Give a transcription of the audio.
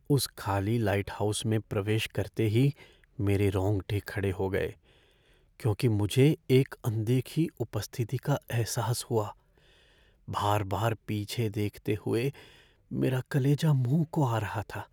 उस खाली लाइटहाउस में प्रवेश करते ही मेरे रोंगटे खड़े हो गए क्यूंकि मुझे एक अनदेखी उपस्थिति का एहसास हुआ। बार बार पीछे देखते हुए मेरा कलेजा मुँह को आ रहा था।